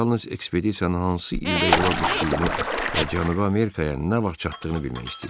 O yalnız ekspedisiyanın hansı ildə yola düşdüyünü və Cənubi Amerikaya nə vaxt çatdığını bilmək istəyir.